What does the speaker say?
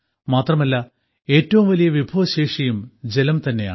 മാത്രമല്ല ഏറ്റവും വലിയ വിഭവശേഷിയും ജലം തന്നെയാണ്